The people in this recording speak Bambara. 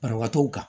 Banabaatɔw kan